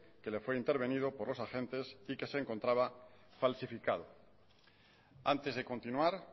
que le fue intervenido por los agentes y que se encontraba falsificado antes de continuar